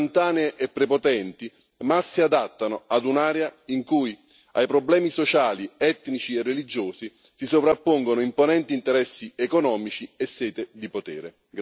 Soluzioni istantanee e prepotenti mal si adattano a un'area in cui ai problemi sociali, etnici e religiosi si sovrappongono imponenti interessi economici e sete di potere.